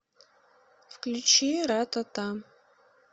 включи ратата